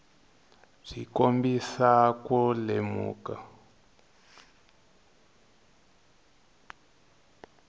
byi kombisa ku lemuka